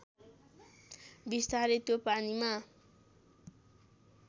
बिस्तारै त्यो पानीमा